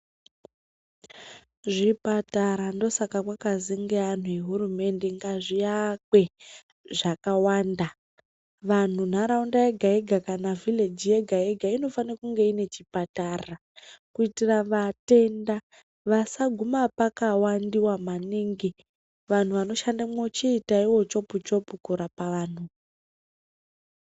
Zvipatara ndosaka kwakazi ngeanhu ehurumende ngazviakwe zvakawanda. Vanhu nharaunda yega-yega kana vhileji yega-yega inofane kunge ine chipatara kuitira vatenda vasaguma pakawandiwa maningi. Vanhu vanoshandemwo chiitaiwo chopu-chopu kurapa vanhu.